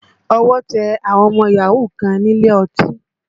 Ọwọ́ tẹ àwọn ọmọ yahoo kan nílé ọtí